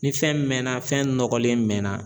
Ni fɛn mɛɛnna fɛn nɔgɔlen mɛnna